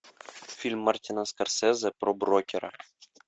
фильм мартина скорсезе про брокера